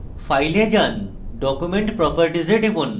file এ যান document properties এ টিপুন